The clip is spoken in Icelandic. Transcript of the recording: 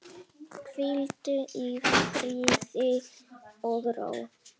Hvíldu í friði og ró.